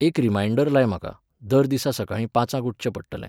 एक रिमायण्डर लाय म्हाका, दर दिसा सकाळीं पाचांक उठचें पडटलें